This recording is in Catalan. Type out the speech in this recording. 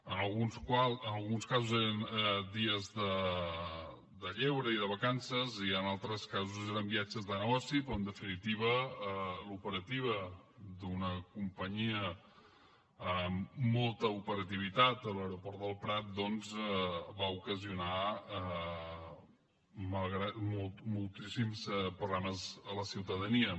en alguns casos eren dies de lleure i de vacances i en altres casos eren viatges de negoci però en definitiva l’operativa d’una companyia amb molta operativitat a l’aeroport del prat doncs va ocasionar moltíssims problemes a la ciutadania